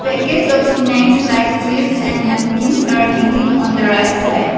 Packets of snacks like chips and namkins are hanging on the right side.